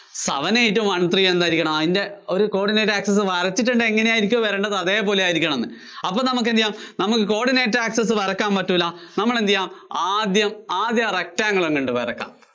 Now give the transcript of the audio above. seven eight one three എന്തായിരിക്കണം? അതിന്‍റെ ഒരു coordinate access വരച്ചിട്ടുണ്ട്, എങ്ങിനെ ആയിരിയ്ക്കും വരേണ്ടത്, അതേപോലെ ആയിരിയ്കണമെന്ന്. അപ്പോ നമുക്ക് എന്തു ചെയ്യാം, നമുക്ക് coordinate access വരയ്ക്കാന്‍ പറ്റൂല്ല. നമ്മള്‍ എന്തു ചെയ്യണം ആദ്യം, ആദ്യമാ rectangle അങ്ങോട്ട് വരയ്ക്കാം.